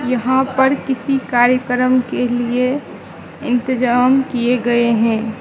यहां पर किसी कार्यकम के लिए इंतजाम किए गए हैं।